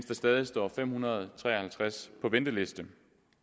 der stadig står fem hundrede og tre og halvtreds på venteliste